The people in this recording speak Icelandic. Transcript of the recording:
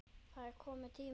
Það er kominn tími til.